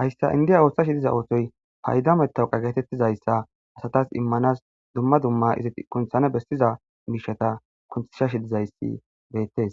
hayssa indiya ooththashi diza oosoy paydametawqa geetettizayssa asatas immanas dumma dumma izi kunthane bessiza miishata kunthsha shi dizayssi beettes